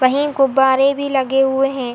कहीं गुब्बारे भी लगे हुए है।